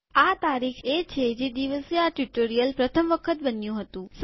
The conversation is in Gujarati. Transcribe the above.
આ તારીખ એ છે જે દિવસે આ ટ્યુ્ટોરીઅલ પ્રથમ વખત બન્યું હતું